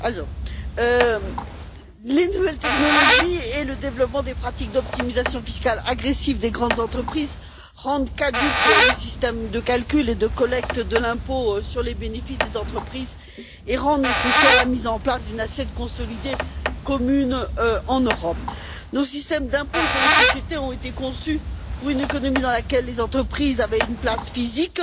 Madame la Présidente, les nouvelles technologies et le développement des pratiques d'optimisation fiscale agressive des grandes entreprises rendent caduc le système de calcul et de collecte de l'impôt sur les bénéfices des entreprises et rendent nécessaire la mise en place d'une assiette consolidée commune en Europe. Nos systèmes d'impôt sur les sociétés ont été conçus pour une économie dans laquelle les entreprises avaient une place physique